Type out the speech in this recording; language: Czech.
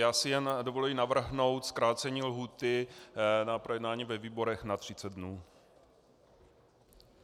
Já si jen dovolím navrhnout zkrácení lhůty na projednání ve výborech na 30 dnů.